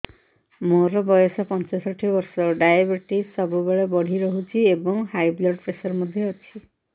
ମୋର ବୟସ ପଞ୍ଚଷଠି ବର୍ଷ ଡାଏବେଟିସ ସବୁବେଳେ ବଢି ରହୁଛି ଏବଂ ହାଇ ବ୍ଲଡ଼ ପ୍ରେସର ମଧ୍ୟ ଅଛି